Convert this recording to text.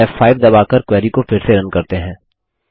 अब फ़5 दबाकर क्वेरी को फिर से रन करते हैं